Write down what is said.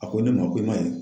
A ko ne ma, ko i ma ye